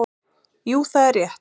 Jú það er rétt.